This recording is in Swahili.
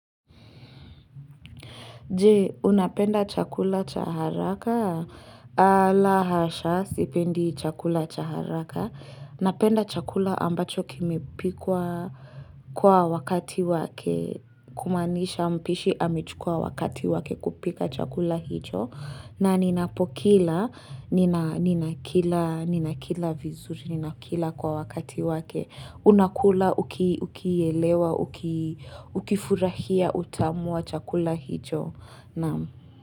Je, unapenda chakula cha haraka? La hasha, sipendi chakula cha haraka. Napenda chakula ambacho kimepikwa kwa wakati wake. Kumaanisha mpishi amechukua wakati wake kupika chakula hicho. Na ninapokila, ninakila vizuri, ninakila kwa wakati wake. Unakula ukielewa, ukifurahia utamu wa chakula hicho. Naam.